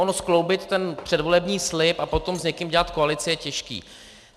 Ono skloubit ten předvolební slib a potom s někým dělat koalici je těžké.